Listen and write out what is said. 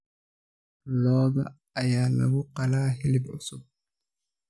Lo'da ayaa lagu qalaa hilib cusub.